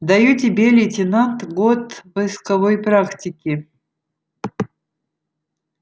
даю тебе лейтенант год войсковой практики